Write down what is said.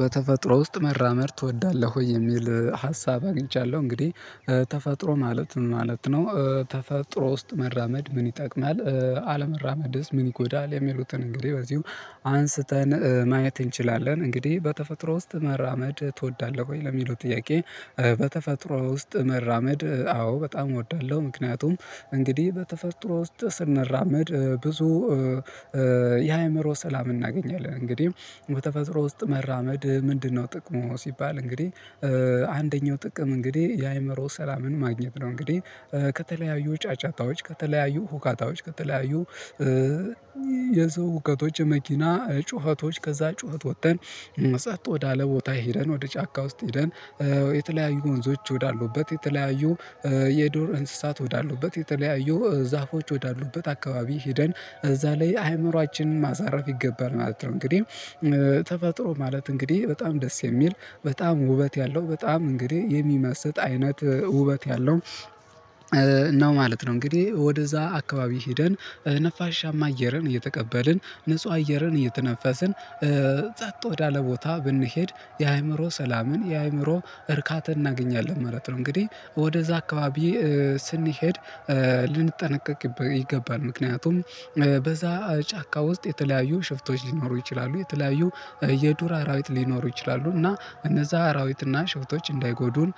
በተፈጥሮ ውስጥ መመራመር ትወዳለህ ወይ የሚል ሀሳብ አግኝቻለሁ። እንግዲህ ተፈጥሮ ማለት ምን ማለት ነው? ተፈጥሮ ውስጥ መራመድ ምን ይጠቅማል? አለመራመድስ ምን ይጎዳል የሚሉትን እንግዲህ በዚሁ አንስተን ማየት እንችላለን። እንግዲህ በተፈጥሮ ውስጥ መራመድ ትወዳለህ ወይ ለሚሉት ጥያቄ። በተፈጥሮ ውስጥ መራመድ አዎ በጣም እወዳለሁ። ምክንያቱም እንግዲህ በተፈጥሮ ውስጥ ስንራመድ ብዙ የአእምሮ ሰላም እናገኛለን። እንግዲህ በተፈጥሮ ውስጥ መራመድ ምንድነው ጥቅሙ ሲባል እንግዲህ አንደኛው ጥቅም እንግዲህ የአእምሮ ሰላምን ማግኘት ነው። እንግዲህ ከተለያዩ ጫጫታዎች ከተለያዩ ሁካታዎች ከተለያዩ የሰው ሁከቶች የመኪና ጩኸቶች ከዛ ጩኸት ወጥተን ፅጥ ወዳለ ቦታ ሄደን ወደ ጫካ ውስጥ ሄደን የተለያዩ ወንዞች ወዳሉበት የተለያዩ የዱር እንስሳት ወዳሉበት የተለያዩ ዛፎች ወዳሉበት አካባቢ ሄደን እዛ ላይ አይምሮአችንን ማሳረፍ ይገባል ማለት ነው። እንግዲህ ተፈጥሮ ማለት እንግዲህ በጣም ደስ የሚል በጣም ውበት ያለው በጣም እንግዲህ የሚመስጥ አይነት ውበት ያለው ነው ማለት ነው። እንግዲህ ወደዛ አካባቢ ሄደን ነፋሻማ አየርን እየተቀበልን ንጹህ አየርን እየተነፈስን ፅጥ ወዳለ ቦታ ብንሄድ የአእምሮ ሰላምን የአእምሮ እርካታ እናገኛለን ማለት ነው። እንግዲህ ወደዛ አካባቢ ስንሄድ ልንጠነቀቅ ይገባል። ምክንያቱም በዛ ጫካ ውስጥ የተለያዩ ሽፍቶች ሊኖሩ ይችላሉ። የተለያዩ የዱር አራዊት ሊኖሩ ይችላሉ። እና እነዛ አራዊት እና ሽፍቶች እንዳይጎዱን